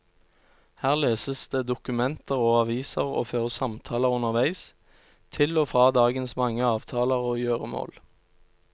Her leses det dokumenter og aviser og føres samtaler underveis, til og fra dagens mange avtaler og gjøremål.